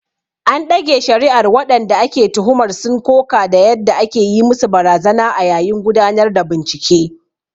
An ɗage shari’ar, waɗanda ake tuhumar sun koka da yadda ake yi musu barazana a yayin gudanar da bincike.